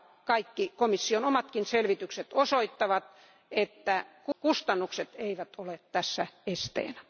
Kaikki komission omatkin selvitykset osoittavat, että kustannukset eivät ole tässä esteenä.